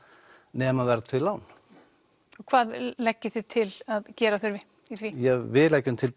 nema verðtryggð lán og hvað leggið þið til að gera þurfi við leggjum til